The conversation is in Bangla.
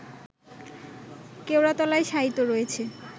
কেওড়াতলায় শায়িত রয়েছে